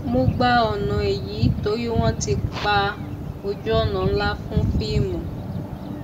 mo gba ònà ẹyìn torí wọn ti pa ojúọnà ńlá fún fíìmù